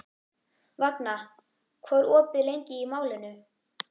Vagna, hvað er opið lengi í Málinu?